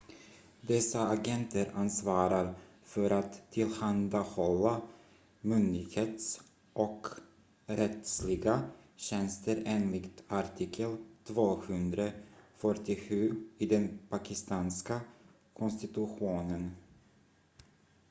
dessa agenter ansvarar för att tillhandahålla myndighets- och rättsliga tjänster enligt artikel 247 i den pakistanska konstitutionen